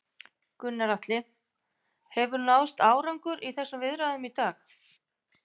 Gunnar Atli: Hefur náðst árangur í þessum viðræðum í dag?